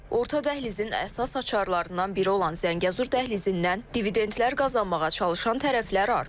Orta dəhlizin əsas açarlarından biri olan Zəngəzur dəhlizindən dividendlər qazanmağa çalışan tərəflər artıb.